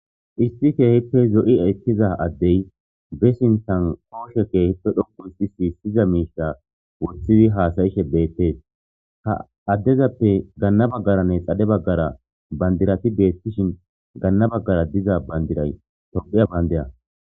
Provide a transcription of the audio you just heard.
Isti keehippe zo'i ekkiza addey be sinthan kooshe keehippe dhopu si si siza miisha wothidi haasayishe beettees ha addezappe ganna baggaranne xadhe baggara bandirati beettishin ganna baggara diza bandiray tophiya bandeya.